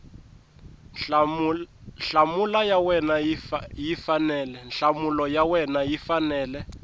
nhlamulo ya wena yi fanele